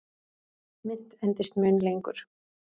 Mynt endist mun lengur.